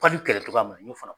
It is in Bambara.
kɛlɛ togoya min na n ɲ'o fana